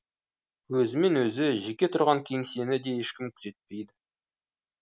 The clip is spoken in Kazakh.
өзімен өзі жеке тұрған кеңсені де ешкім күзетпейді